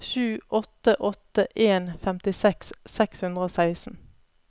sju åtte åtte en femtiseks seks hundre og seksten